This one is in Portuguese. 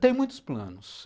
Tem muitos planos.